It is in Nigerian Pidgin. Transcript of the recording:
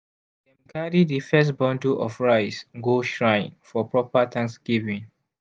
dem carry di first bundle of rice go shrine for proper thanksgiving.